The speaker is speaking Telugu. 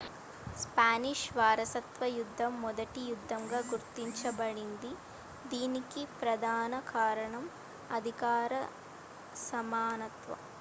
స్పానిష్ వారసత్వ యుద్ధం మొదటి యుద్ధంగా గుర్తించబడింది దీనికి ప్రధాన కారణం అధికార సమానత్వం